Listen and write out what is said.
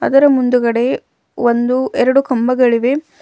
ಅದರ ಮುಂದುಗಡೆ ಒಂದು ಎರಡು ಕಂಬಗಳಿವೆ.